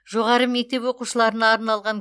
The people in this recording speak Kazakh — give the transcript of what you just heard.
жоғары мектеп оқушыларына арналған